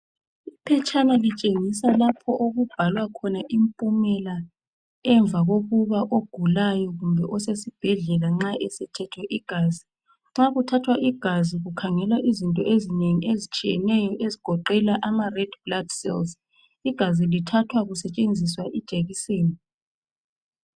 Iphetshana litshengiswa lapho okubhalwa khona impumela emva kokuba ogulayo kumbe osesibhedlela nxa ethethwe igazi. Nxa kuthathwa igazi kukhangelwa izinto ezitshiyeneyo ezigoqela amaredi blood cells. Igazi lithathwa kusetshenziswa ijekiseni.